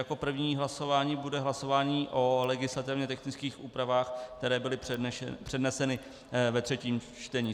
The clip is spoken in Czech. Jako první hlasování bude hlasování o legislativně technických úpravách, které byly předneseny ve třetím čtení.